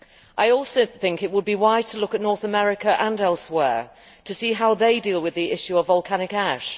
I also think it would be wise to look at North America and elsewhere to see how they deal with the issue of volcanic ash.